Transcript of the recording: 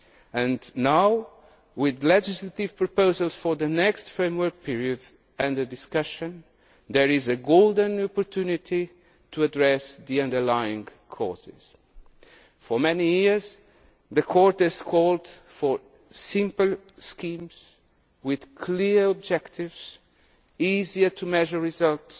And now, with legislative proposals for the next framework period under discussion, there is a golden opportunity to address their underlying causes. For many years, the Court has called for single schemes with clearer objectives, easier to measure